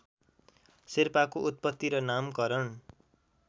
शेर्पाको उत्पत्ति र नामकरण